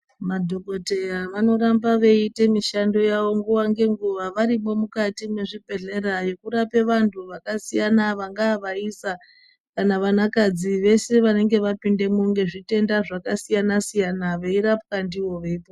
Madhokoteya vanoramba veyi ita mishando yavo nguwa ngenguwavarimwo mukati mwezvibhehlera vechirape anthu akasiyana siyana, vangaa vaisa kana vana kadzi veshe vanenge vapindamo ngezvitenda zvakasiyana, veirapwa ndivona.